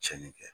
Tiɲɛni kɛ